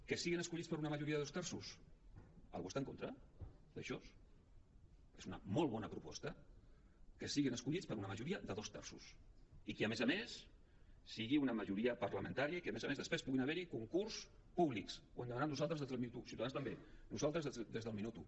que siguin escollits per una majoria de dos terços algú hi està en contra d’això és una molt bona proposta que siguin escollits per una majoria de dos terços i que a més a més sigui una majoria parlamentària i que a més a més després puguin haver hi concursos públics ho hem demanat nosaltres des del minut u ciutadans també nosaltres des del minut u